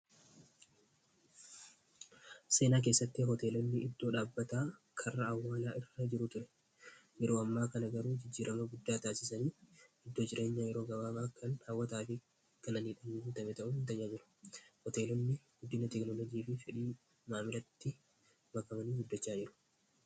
seenaa keessatti hoteelonni iddoo dhaabbataa karra awwaalaa irra jiru ture yeroo ammaa kana garuu jijjiirama guddaa taasisanii iddoo jireenyaa yeroo gabaabaa kan haawwataa fi qananiidhan ta,e ta'uu jiru hoteelonni guddina teeknolojii fi fedhii maamilatti makamanii guddachaan jiru